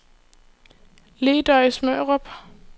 Ledøje-Smørum